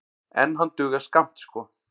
En hann dugar skammt sko.